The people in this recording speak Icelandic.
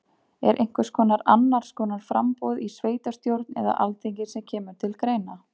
Er einhvers konar annars konar framboð í sveitastjórn eða alþingi sem kemur til greina?